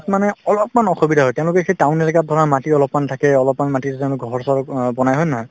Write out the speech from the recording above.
মানে অলপমান অসুবিধা হয় তেওঁলোকে সেই town এলেকাত ধৰা মাটি অলপমান থাকে অলপমান মাটিতে তেওঁলোকে ঘৰ-চৰ অ বনাই হয় নে নহয়